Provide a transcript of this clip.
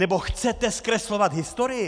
Nebo chcete zkreslovat historii?